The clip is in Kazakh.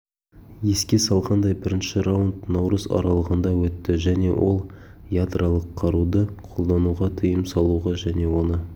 еске салғандай бірінші раунд наурыз аралығында өтті және ол ядролық қаруды қолдануға тыйым салуға және оны